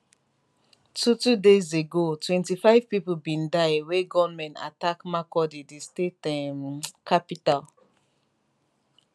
two two days ago 25 pipo bin die wen gunmen attack makurdi di state um capital